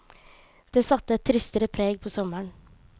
Det satte et tristere preg på sommeren.